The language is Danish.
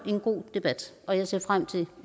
en god debat og jeg ser frem til